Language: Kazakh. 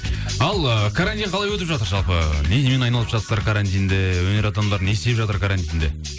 ал ы карантин қалай өтіп жатыр жалпы немен айналысып жатсыздар карантинде өнер адамдары не істеп жатыр карантинде